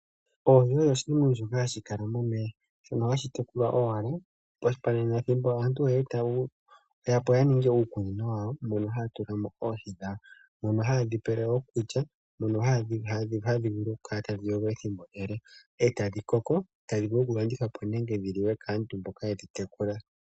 Oohi odho oshinima shoka hashi kala momeya shono hashi tekulwa owala pethimbo asntu ye yapo yaninge uukunino wawo mbono haya tulamo oohi dhawo mono hayedhi pele okulya mono hadhi vulu okukala tadhi yogo ethimbo ele e tadhi koko tadhi vulu okulandithwapo dhi liwe kaantu mboka yedhi tekula